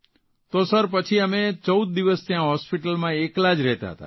તો સર પછી અમે ૧૪ દિવસ ત્યાં હોસ્પીટલમાં એકલા જ રહેતા હતા